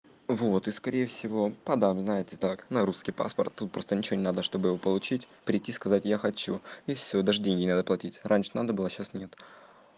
вот и скорее всего подам знает и так на русский паспорт тут просто ничего не надо чтобы получить прийти сказать я хочу и все даже денег не надо платить раньше надо было сейчас нет